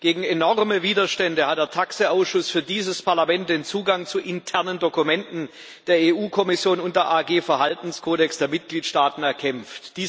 Gegen enorme Widerstände hat der TAXE Ausschuss für dieses Parlament den Zugang zu internen Dokumenten der EU Kommission und der Gruppe Verhaltenskodex der Mitgliedstaaten erkämpft.